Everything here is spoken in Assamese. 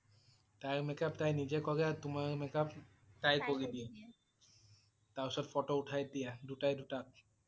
তাইৰ makeup তাই নিজেই কৰে আৰু তোমাৰ makeup তাই কৰি দিয়ে । তাৰ পিছত ফটো উঠাই দিয়া দুটাই দুটাক